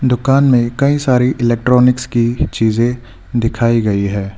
दुकान में कई सारी इलेक्ट्रॉनिक्स की चीजे दिखाई गई है।